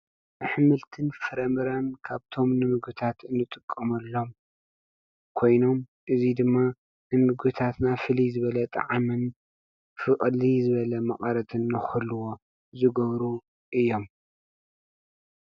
አሕምልትን ፍረምረን ካብቶም ንምግብታት ንጥመሎም ኮይኖም እዙይ ድማ ንምግብታትና ፍልይ ዝብለ ጣዕሚን ፍልይ መቀረትን ንክህልዎ ዝገብሩ እዮም።